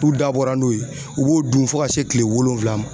N'u dabɔra n'o ye, u b'o dun fo ka se kile wolonwula ma.